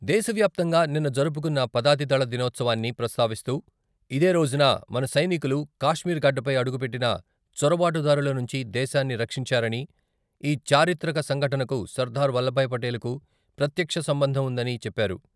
దేశవ్యాప్తంగా నిన్న జరుపుకున్న పదాతి దళ దినోత్సవాన్ని ప్రస్తావిస్తూ ఇదేరోజున మన సైనికులు కాశ్మీర్ గడ్డపై అడుగుపెట్టిన చొరబాటు దారుల నుంచి దేశాన్ని రక్షించారని, ఈ చారిత్రక సంఘటనకు సర్దార్ వల్లబాయ్ పటేలు ప్రత్యక్ష సంబంధం ఉందని చెప్పారు.